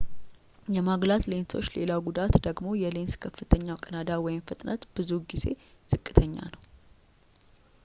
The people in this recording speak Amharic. የማጉላት ሌንሶች ሌላው ጉዳት ደግሞ የሌንስ ከፍተኛው ቀዳዳ ፍጥነት ብዙውን ጊዜ ዝቅተኛ ነው